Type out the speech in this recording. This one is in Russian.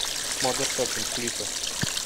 модерн токинг клипы